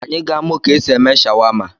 Anyị ga-amụ ka e si eme shawama.